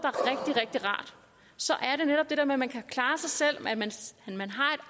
så er det netop det der med at man kan klare sig selv at man